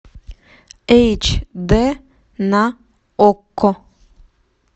эйч д на окко